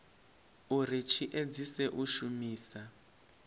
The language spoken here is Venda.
uri tshi edzise u shumisa